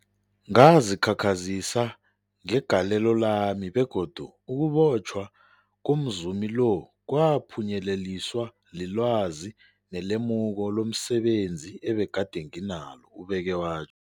Ngazikhakhazisa ngegalelo lami, begodu ukubotjhwa komzumi lo kwaphunyeleliswa lilwazi nelemuko lomse benzi ebegade nginalo, ubeke watjho.